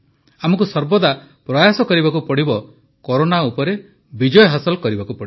ଆମକୁ ସର୍ବଦା ପ୍ରୟାସ କରିବାକୁ ହେବ କରୋନା ଉପରେ ବିଜୟ ହାସଲ କରିବାକୁ ପଡ଼ିବ